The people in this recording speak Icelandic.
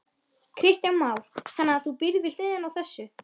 Kristján Már: Þannig að þú býrð við hliðina á þessu?